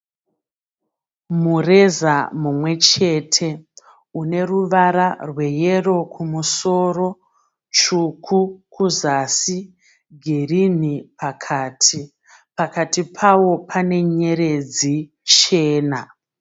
Mureza mumwe chete une ruvara rweyero kumusoro tsvuku kuzasi girini pakati, pakati pawo pane nyeredzi chena.